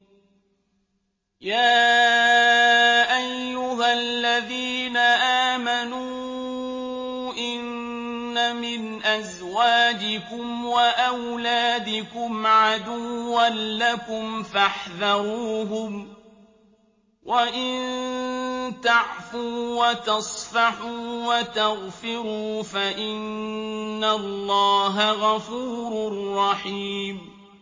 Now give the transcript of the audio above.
يَا أَيُّهَا الَّذِينَ آمَنُوا إِنَّ مِنْ أَزْوَاجِكُمْ وَأَوْلَادِكُمْ عَدُوًّا لَّكُمْ فَاحْذَرُوهُمْ ۚ وَإِن تَعْفُوا وَتَصْفَحُوا وَتَغْفِرُوا فَإِنَّ اللَّهَ غَفُورٌ رَّحِيمٌ